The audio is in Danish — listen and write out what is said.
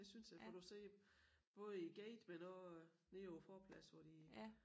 Det synes jeg for du ser både i æ gate men også nede på æ forplads hvor de